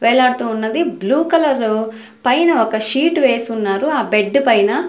వేలడుతూ ఉన్నది blue colour పైన ఒక షీట్ వేసి ఉన్నారు ఆ బెడ్డు పైన.